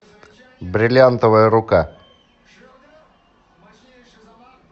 бриллиантовая рука